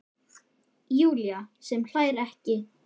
Júlía sem hlær ekki.